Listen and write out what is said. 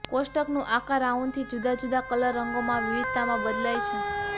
કોષ્ટકનું આકાર રાઉન્ડથી જુદા જુદા કલર રંગોમાં વિવિધતામાં બદલાય છે